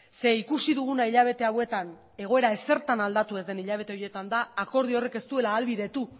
ze ikusi duguna hilabete hauetan egoera ezertan aldatu ez den hilabete horietan da akordio horrek ez duela ahalbidetu